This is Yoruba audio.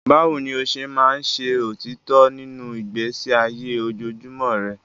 Báwo ni o ṣe máa ń ṣe òtítọ́ nínú ìgbésí ayé ojoojúmọ́ rẹ?